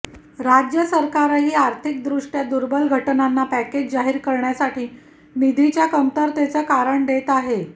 राज्य सरकारही आर्थिकदृष्ट्या दुर्बल घटकांना पॅकेज जाहीर करण्यासाठी निधीच्या कमतरतेचं कारण देत आहे